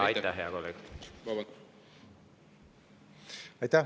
Aitäh!